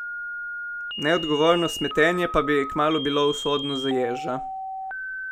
Neodgovorno smetenje pa bi kmalu bilo usodno za ježa.